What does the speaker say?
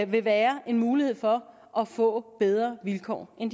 vil være en mulighed for at få bedre vilkår end